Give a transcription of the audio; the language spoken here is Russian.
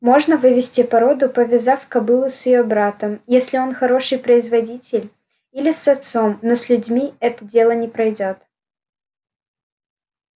можно вывести породу повязав кобылу с её братом если он хороший производитель или с отцом но с людьми это дело не пройдёт